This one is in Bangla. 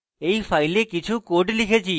এই file কিছু code লিখেছি